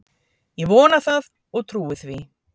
Ég vona það og trúi því